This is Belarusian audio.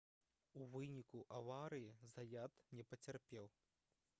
у выніку аварыі заят не пацярпеў